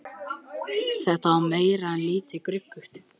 Þetta var meira en lítið gruggugt.